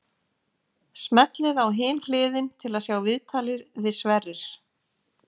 Smellið á Hin hliðin til að sjá viðtalið við Sverrir.